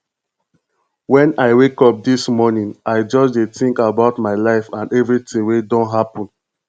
wen i wake up dis morning i just dey think about my life and everything wey don happen